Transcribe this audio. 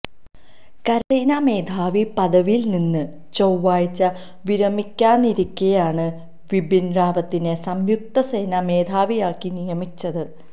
കരസേനാ മേധാവി പദവിയില് നിന്ന് ചൊവ്വാഴ്ച വിരമിക്കാനിരിക്കെയാണ് ബിപിന് റാവത്തിനെ സംയുക്ത സേനാ മേധാവിയാക്കി നിയമിച്ചത്